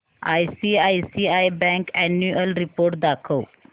ICICI bank annual report दाखव